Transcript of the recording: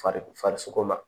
Fariso farisoko ma